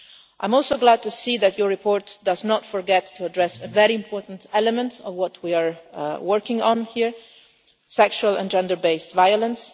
I am also glad to see that your report does not forget to address a very important element of what we are working on here, namely sexual and gender based violence.